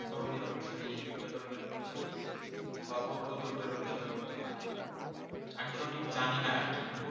ধর্মের অনুসারী, এই দুইটা ধর্মের অনুসারী বা বৌদ্ধ ধর্মের অনুসারী হতে পারে। আমি সঠিক জানি না আর কি!